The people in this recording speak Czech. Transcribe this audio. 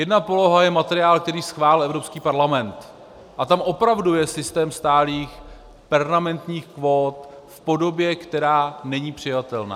Jedna poloha je materiál, který schválil Evropský parlament, a tam opravdu je systém stálých, permanentních kvót v podobě, která není přijatelná.